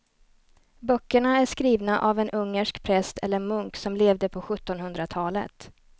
Böckerna är skrivna av en ungersk präst eller munk som levde på sjuttonhundratalet.